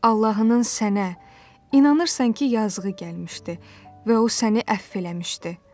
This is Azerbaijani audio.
Allahının sənə inanırsan ki, yazığı gəlmişdi və o səni əfv eləmişdi.